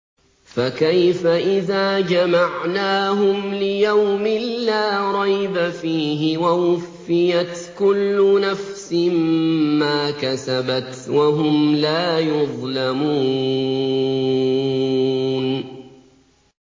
فَكَيْفَ إِذَا جَمَعْنَاهُمْ لِيَوْمٍ لَّا رَيْبَ فِيهِ وَوُفِّيَتْ كُلُّ نَفْسٍ مَّا كَسَبَتْ وَهُمْ لَا يُظْلَمُونَ